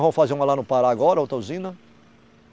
Vão fazer uma lá no Pará agora, outra usina.